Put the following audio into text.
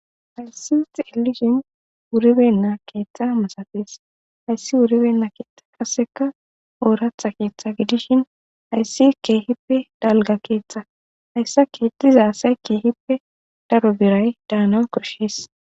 hayssi xelishin wuribenna keeththa masatis hayssi wuribenna keetha kaseka ooratha keeththa gidishin hayssi keehippe dalga keeththa hayssa keediza say keehippe daro biray daana koshees